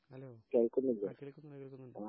hello ആ കേളക്കുന്നുണ്ട് കേളക്കുന്നുണ്ട്